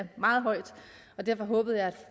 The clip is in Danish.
meget højt og derfor håbede jeg